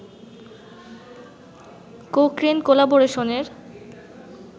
Cochrane কোলাবরেশনের